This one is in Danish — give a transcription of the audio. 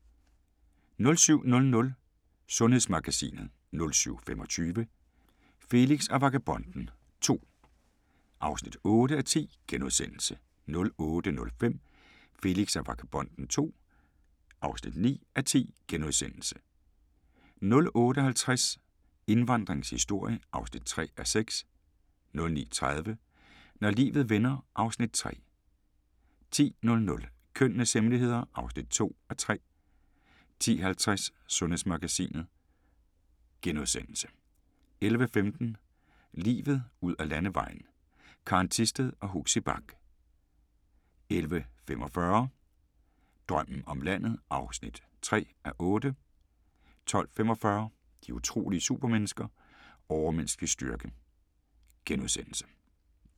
07:00: Sundhedsmagasinet 07:25: Felix og Vagabonden II (8:10)* 08:05: Felix og Vagabonden II (9:10)* 08:50: Indvandringens historie (3:6) 09:30: Når livet vender (Afs. 3) 10:00: Kønnenes hemmeligheder (2:3) 10:50: Sundhedsmagasinet * 11:15: Livet ud ad Landevejen: Karen Thisted og Huxi Bach 11:45: Drømmen om landet (3:8) 12:45: De utrolige supermennesker - Overmenneskelig styrke *